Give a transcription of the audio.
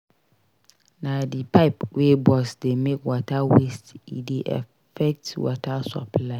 Na di pipe wey burst dey make water waste e dey affect water supply.